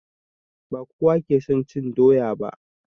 Ba kowa ke son cin doya ba